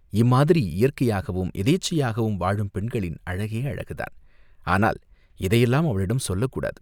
இம்மாதிரி இயற்கையாகவும் யதேச்சையாகவும் வாழும் பெண்களின் அழகே அழகுதான், ஆனால் இதையெல்லாம் அவளிடம் சொல்லக் கூடாது.